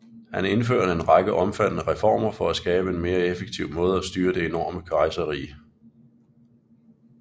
Han indførte en række omfattende reformer for at skabe en mere effektiv måde at styre det enorme kejserrige